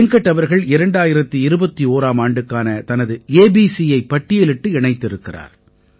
வெங்கட் அவர்கள் 2021ஆம் ஆண்டுக்கான தனது ABCயைப் பட்டியலிட்டு இணைத்திருக்கிறார்